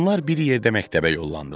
Onlar bir yerdə məktəbə yollandılar.